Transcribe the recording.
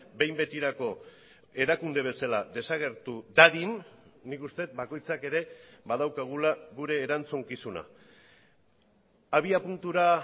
behin betirako erakunde bezala desagertu dadin nik uste dut bakoitzak ere badaukagula gure erantzukizuna abiapuntura